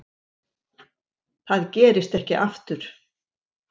Það gerist ekki aftur.